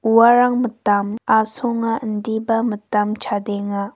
uarang mitam asonga indiba mitam chadenga.